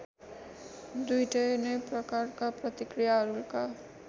दुईटै नै प्रकारका प्रतिक्रियाहरूका